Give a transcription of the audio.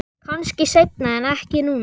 Kannski seinna en ekki núna.